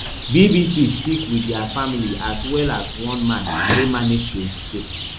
bbc speak wit dia family as well as one man wey manage to escape